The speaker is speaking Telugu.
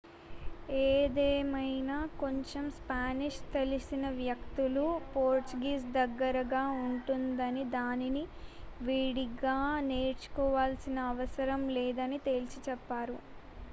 ఏదేమైనా కొంచెం స్పానిష్ తెలిసిన వ్యక్తులు పోర్చుగీస్ దగ్గరగా ఉంటుందని దానిని విడిగా నేర్చుకోవాల్సిన అవసరం లేదని తేల్చి చెప్పారు